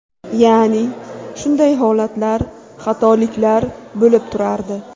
Ya’ni, shunday holatlar, xatoliklar bo‘lib turardi.